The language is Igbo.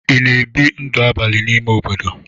Ị na-ebi ndụ abalị n'ime obodo?